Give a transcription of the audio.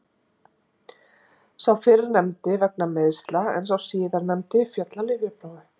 Sá fyrrnefndi vegna meiðsla en sá síðarnefndi féll á lyfjaprófi.